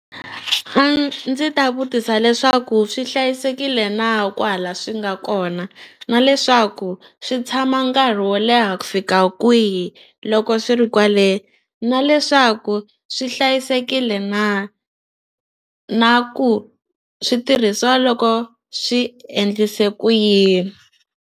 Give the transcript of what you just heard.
Ndzi ta vutisa leswaku swi hlayisekile na kwahala swi nga kona na leswaku swi tshama nkarhi wo leha ku fika kwihi loko swi ri kwale na leswaku swi hlayisekile na na swi tirhisiwa loko swi endlise ku yini.